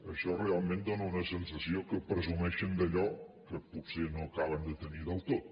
això realment dóna una sensació que presumeixen d’allò que potser no acaben de tenir del tot